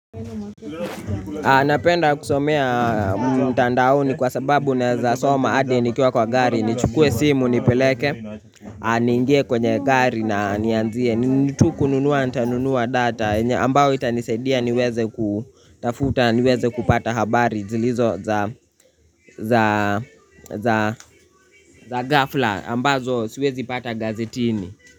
Napenda kusomea mtandaoni kwa sababu naeza soma hadi nikiwa kwa gari nichukue simu nipeleke, niingie kwenye gari na nianzie. Nitu kununua, nitanunua data yenye ambao itanisedia niweze kutafuta, niweze kupata habari zilizo za za gafla, ambazo siwezi pata gazetini.